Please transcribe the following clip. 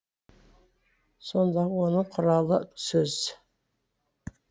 сондағы оның құралы сөз